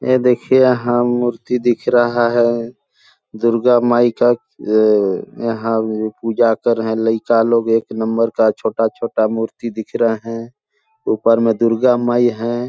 ये देखिये यहाँ मूर्ति दिख रहा है दुर्गा माई का अअअए यहाँ पूजा कर रहे है लईका लोग एक नंबर का छोटा - छोटा मूर्ति दिख रहे है ऊपर में दुर्गा माई हैं ।